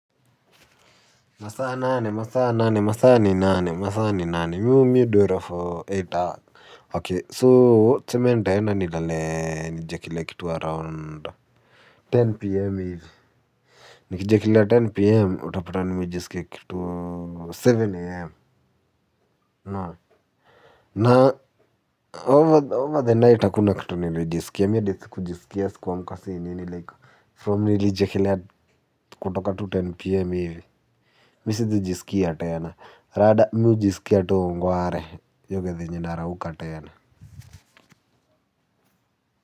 Masa nane, masa nane, masa ni nane, masa nane, masa nane, miu miu dwele for eight hours. Ok, so cementa yana ni lalee ni jekile kitu around. Ten p.m. Hivi. Ni jekile ten p.m. Utapata nimejiskia kitu seven a.m. Na. Na, over the night akuna kitu nilo jisuke. Miadithi kujisuke yesu kwa mkasi inini like. From nili jekile kutoka tu ten p.m. Hivi. Mi si tu jiski ya tae ya na rada miu jiski ya tu ungoa re Yoke di jindara uka tae ya na.